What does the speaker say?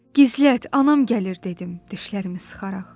Gizlət, anam gəlir dedim, dişlərimi sıxaraq.